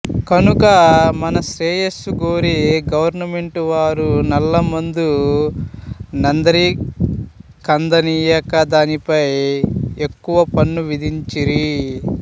కనుక మన శ్రేయస్సును గోరి గవర్నమెంటు వారీ నల్ల మందు నందరికంద నీయక దానిపై ఎక్కువ పన్ను విధించిరి